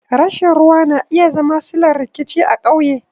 Rashin ruwa na iya zama sillar rikici a ƙauye.